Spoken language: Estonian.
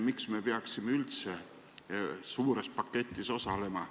Miks me peaksime üldse suures paketis osalema?